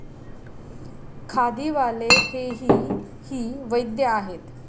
खादी वाले हेही ही वैद्य आहेत